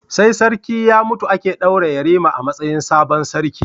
Sai sarki ya mutu ake daura yarima a matsayin sabon sarki